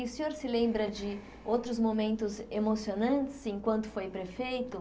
E o senhor se lembra de outros momentos emocionantes enquanto foi prefeito?